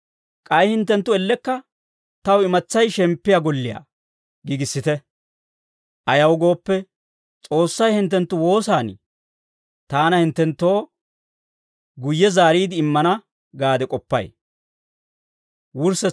K'ay hinttenttu ellekka taw imatsay shemppiyaa golliyaa giigissite. Ayaw gooppe, S'oossay hinttenttu woosan taana hinttenttoo guyye zaariide immana gaade k'oppay.